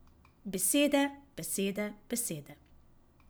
Besede, besede, besede.